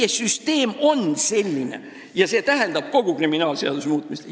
Meie süsteem on selline ja see tähendab kogu kriminaalmenetluse seadustiku muutmist.